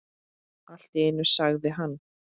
Allt í einu sagði hann